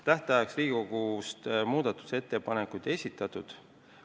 Tähtajaks Riigikogust muudatusettepanekuid ei esitatud.